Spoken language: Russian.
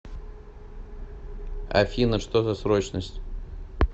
афина что за срочность